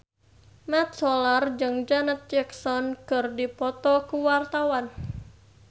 Mat Solar jeung Janet Jackson keur dipoto ku wartawan